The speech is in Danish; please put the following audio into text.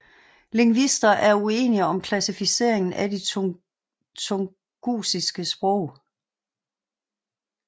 Lingvister er uenige om klassificeringen af de tungusiske sprog